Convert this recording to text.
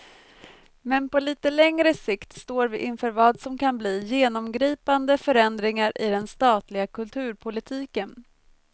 Men på lite längre sikt står vi inför vad som kan bli genomgripande förändringar i den statliga kulturpolitiken.